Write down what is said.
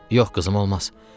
Yox qızım, olmaz.